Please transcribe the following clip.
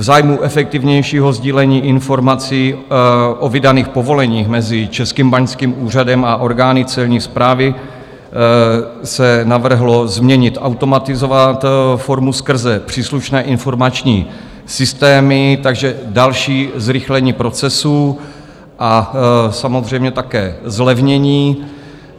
V zájmu efektivnějšího sdílení informací o vydaných povoleních mezi Českým báňským úřadem a orgány Celní správy se navrhlo změnit, automatizovat formu skrze příslušné informační systémy, takže další zrychlení procesu, a samozřejmě také zlevnění.